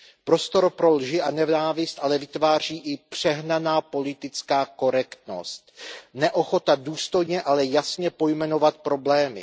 Prostor pro lži a nenávist ale vytváří i přehnaná politická korektnost neochota důstojně, ale jasně pojmenovat problémy.